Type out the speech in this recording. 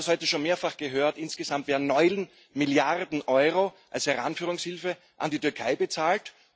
Wir haben das schon mehrfach gehört Insgesamt werden neun Milliarden Euro als Heranführungshilfe an die Türkei bezahlt.